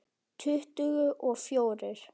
Tuttugu og fjórir!